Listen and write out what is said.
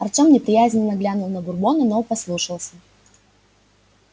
артем неприязненно глянул на бурбона но послушался